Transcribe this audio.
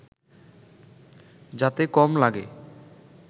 যাতে কম লাগে